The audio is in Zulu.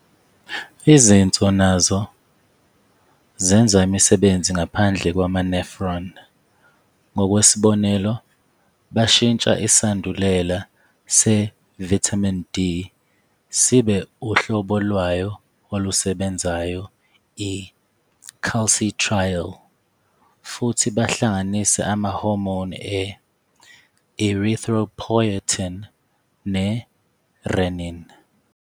Izinso nazo zenza imisebenzi ngaphandle kwama-nephron. Ngokwesibonelo, bashintsha isandulela se-vitamin D sibe uhlobo lwayo olusebenzayo, i-calcitriol, futhi bahlanganise ama-hormone e-erythropoietin ne-renin.